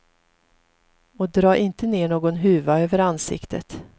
Och dra inte ner någon huva över ansiktet.